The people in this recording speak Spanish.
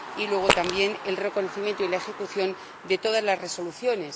Y, luego, también, el reconocimiento y la ejecución de todas las resoluciones.